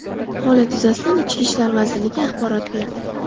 Holat yuzasidan Ichki ishlar vazirligi axborot berdi .